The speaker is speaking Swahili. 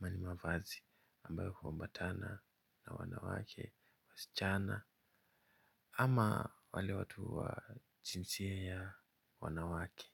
aMa nimavazi ambayo huambatana na wanawake wasichana. Ama wale watu wajinsia ya wanawake.